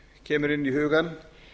kemur inn í hugann